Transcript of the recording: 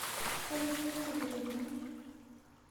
афина ты беременна